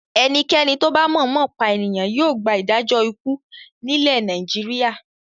Ẹnikẹ́ni tó bá mọ̀ọ́mọ̀ pa ènìyàn yóò gba ìdájọ́ ikú nílẹ̀ Nàìjíríà.